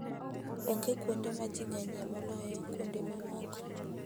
Onge kuonde ma ji ng'enyie moloyo kuonde mamoko.